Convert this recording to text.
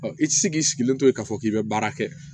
i ti se k'i sigilen to yen k'a fɔ k'i bɛ baara kɛ